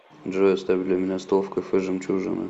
джой оставь для меня стол в кафе жемчужина